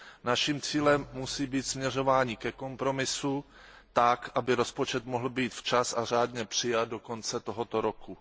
Naším cílem musí být směřování ke kompromisu tak, aby rozpočet mohl být včas a řádně přijat do konce tohoto roku.